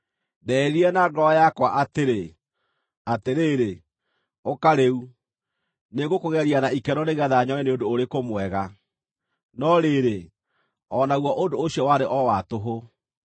Ndeĩrire na ngoro yakwa atĩrĩ, “Atĩrĩrĩ, ũka rĩu, nĩngũkũgeria na ikeno nĩgeetha nyone nĩ ũndũ ũrĩkũ mwega.” No rĩrĩ, o naguo ũndũ ũcio warĩ o wa tũhũ.